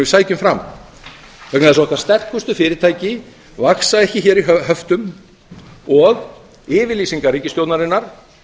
sækjum fram vegna þess að okkar sterkustu fyrirtæki vaxa ekki hér í höftum og yfirlýsingar ríkisstjórnarinnar